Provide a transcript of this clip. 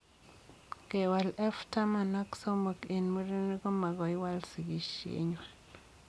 Kewal F taman ak somok eng murenik komagoiwal sigisiet ngwang